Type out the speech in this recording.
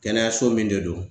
Kɛnɛyaso min de do